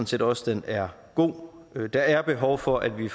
set også den er god der er behov for at vi